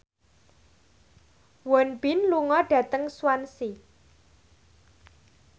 Won Bin lunga dhateng Swansea